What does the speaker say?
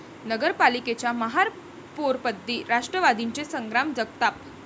नगर पालिकेच्या महापौरपदी राष्ट्रवादीचे संग्राम जगताप